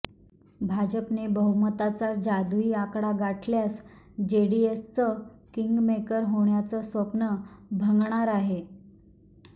भाजपने बहुमताचा जादुई आकडा गाठल्यास जेडीएसचं किंगमेकर होण्याचं स्वप्न भंगणार आहे